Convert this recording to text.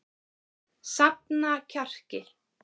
Safna kjarki.